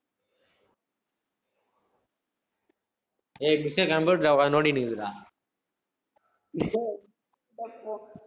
ஏய் miss ஏ computer ல உக்காந்து நோண்டிட்டு